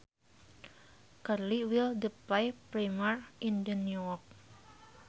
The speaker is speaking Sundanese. Curly Will the play premiere in New York